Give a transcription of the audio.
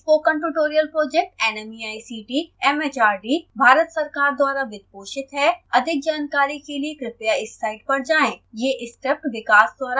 spoken tutorial project nmeict mhrd Bharat सरकार द्वारा वित्त पोषित है अधिक जानकारी के लिए कृपया इस साइट पर जाएं